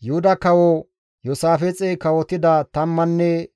Yuhuda Kawo Iyoosaafixey kawotida tammanne